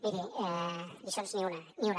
miri lliçons ni una ni una